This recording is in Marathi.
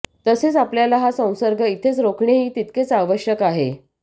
तसेच आपल्याला हा संसर्ग इथेच रोखणेही तितकेच आवश्यक आहे